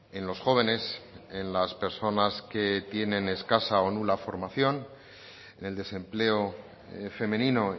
en los jóvenes en las personas que tienen escasa o nula formación en el desempleo femenino